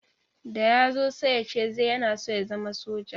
Da ya zo sai ya ce yana so ya zama soja.